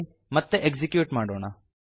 ಮತ್ತೆ ಎಕ್ಸಿಕ್ಯೂಟ್ ಮಾಡೋಣ